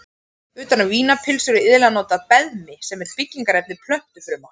Utan um vínarpylsur er iðulega notað beðmi sem er byggingarefni plöntufruma.